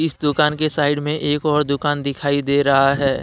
इस दुकान के साइड में एक और दुकान दिखाई दे रहा है।